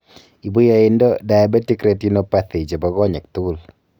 ibu yaainda diabetc retinopathy chebo konyek tugul